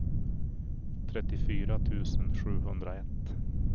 trettiofyra tusen sjuhundraett